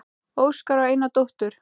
Óskar á eina dóttur.